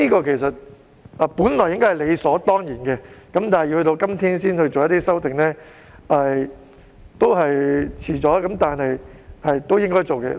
其實，這本應是理所當然的事情，但卻要到今天才能夠提出修訂，其實也是遲了，但終歸也是應該要做的事情。